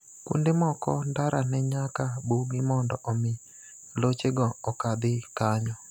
Kuonde moko ndara ne nyaka bugi mondo omi loche go okadhi kanyo.